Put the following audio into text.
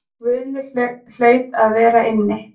Guðni hlaut að vera inni.